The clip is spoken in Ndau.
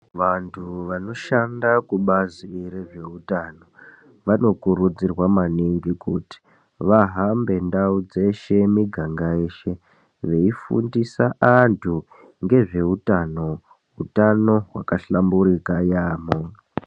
Vantu vanoshanda kubazi rezveutano vanokurudzirwa maningi kuti vahambe ndau dzeshe miganga yeshe veifundisa antu ngezveutano, utano hwakahlamburika yaamho.